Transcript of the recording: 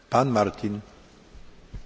Herr Kommissionspräsident!